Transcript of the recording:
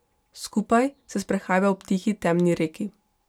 Skupaj se sprehajava ob tihi temni reki.